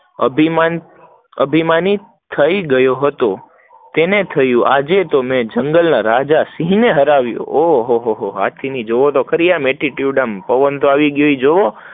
અભિમાન અભિમાની થઇ ગયો હતો, તેને થયું કે આજે મેં જંગલ ના રાજા સિંહ ને હરાવ્યો, ઓ હો હો હાથી ને બી જોવો આમ તો attitude, પવન તો આવી ગયો એ તો જોવો